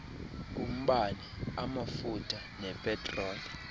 umbane amafutha nepetroli